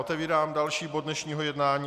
Otevírám další bod dnešního jednání.